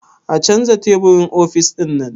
A canza teburin ofis ɗinnan?